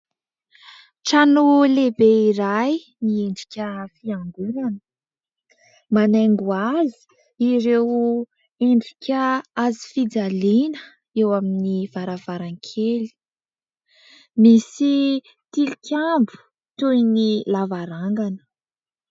Trano lehibe iray miendrika fiangonana, manaingo azy ireo endrika hazofijaliana eo amin'ny varavarankely, misy tilikambo toy ny lavarangana.